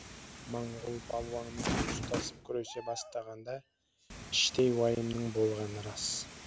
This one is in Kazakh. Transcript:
моңғол балуанымен ұстасып күресе бастағанда іштей уайымның болғаны рас